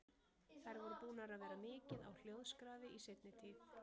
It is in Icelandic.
Þær voru búnar að vera mikið á hljóðskrafi í seinni tíð.